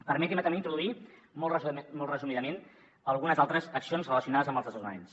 permetin me també introduir molt resumidament algunes altres accions relacionades amb els desnonaments